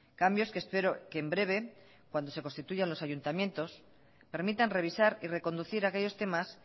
cambios que espero que en breve cuando se constituyan los ayuntamientos permitan revisar y reconducir aquellos temas